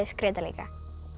skreyta líka